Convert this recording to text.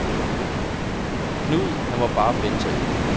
Knud, han må bare finde sig i det.